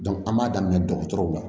an b'a daminɛ dɔgɔtɔrɔw la